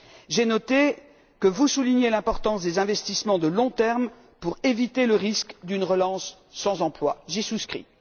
J'ai noté que vous soulignez l'importance des investissements de long terme pour éviter le risque d'une relance sans emploi. J'y souscris.